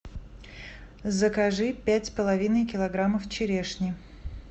закажи пять с половиной килограммов черешни